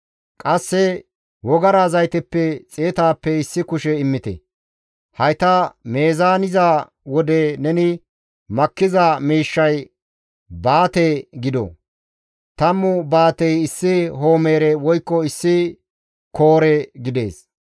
qasse wogara zayteppe xeetappe issi kushe immite. Hayta meezaaniza wode, neni makkiza miishshay baate gido. Tammu baatey issi homeere woykko issi koore gidees.